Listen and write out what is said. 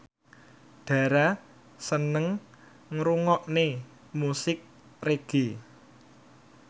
Dara seneng ngrungokne musik reggae